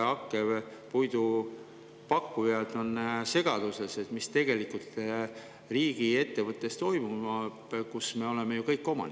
Hakkepuidu pakkujad on segaduses, mis tegelikult toimub riigiettevõttes, mille omanikud me ju kõik oleme.